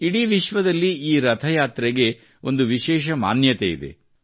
ಇಡಿ ವಿಶ್ವದಲ್ಲಿ ಈ ರಥಯಾತ್ರೆಗೆ ಒಂದು ವಿಶೇಷ ಮಾನ್ಯತೆಯಿದೆ